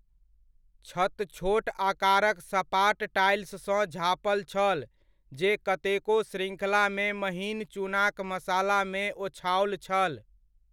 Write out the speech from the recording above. छत छोट आकारक सपाट टाइल्ससँ झाँपल छल जे कतेको श्रृङ्खलामे महीन चूनाक मसालामे ओछाओल छल।